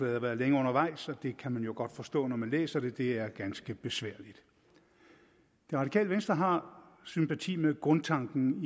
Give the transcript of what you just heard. har været længe undervejs og det kan man jo godt forstå når man læser det det er ganske besværligt det radikale venstre har sympati med grundtanken